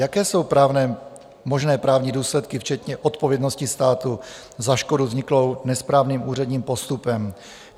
Jaké jsou možné právní důsledky včetně odpovědnosti státu za škodu vzniklou nesprávným úředním postupem?